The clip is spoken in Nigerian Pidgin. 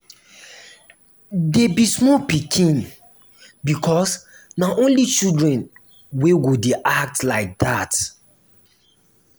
dey be small pikin because na only children wey go dey act like dat